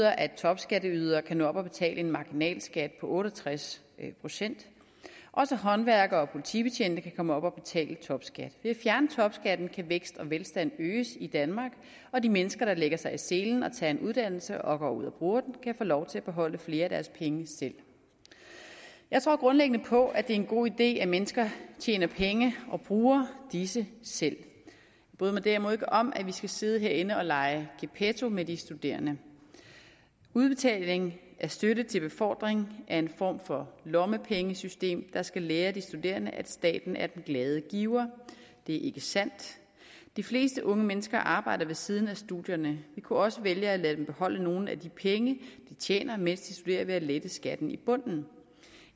at topskatteydere kan nå op på at betale en marginalskat på otte og tres procent også håndværkere og politibetjente kan komme op og betale topskat ved at fjerne topskatten kan vækst og velstand øges i danmark og de mennesker der lægger sig i selen og tager en uddannelse og går ud og bruger den kan få lov til at beholde flere af deres penge selv jeg tror grundlæggende på at det er en god idé at mennesker tjener penge og bruger disse selv jeg bryder mig derimod ikke om at vi skal sidde herinde og lege gepetto med de studerende udbetaling af støtte til befordring er en form for lommepengesystem der skal lære de studerende at staten er den glade giver det er ikke sandt de fleste unge mennesker arbejder ved siden af studierne og vi kunne også vælge at lade dem beholde nogle af de penge de tjener mens de studerer ved at lette skatten i bunden i